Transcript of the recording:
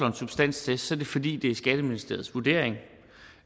en substanstest er det fordi det er skatteministeriets vurdering